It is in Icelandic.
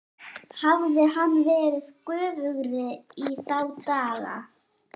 Hafði hann verið göfugri í þá daga?